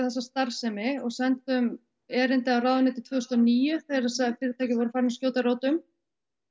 þessa starfsemi og sendum erindi á ráðuneytið tvö þúsund og níu þegar þessi fyrirtæki voru farin að skjóta rótum